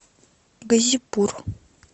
газипур